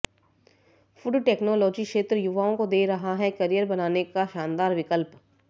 food technology क्षेत्र युवाओं को दे रहा है करियर बनाने का शानदार विकल्प